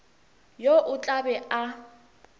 yo o tla be a